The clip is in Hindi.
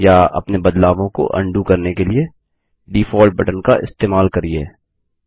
या अपने बदलावों को उंडो करने के लिए डिफॉल्ट बटन का इस्तेमाल करिये